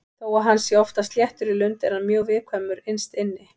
Þó að hann sé oftast léttur í lund er hann mjög viðkvæmur innst inni.